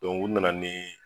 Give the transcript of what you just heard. u na na ni